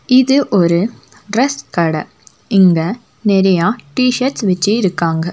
இது ஒரு டிரஸ் கட இங்க நெறையா டி_ஷர்ட்ஸ் வெச்சி இருக்காங்க.